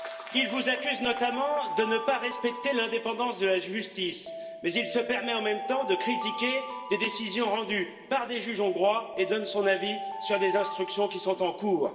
Il vous accuse notamment de ne pas respecter l'indépendance de la justice, mais il se permet en même temps de critiquer des décisions rendues par des juges hongrois et donne son avis sur des instructions qui sont en cours.